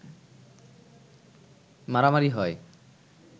মারামারি হয়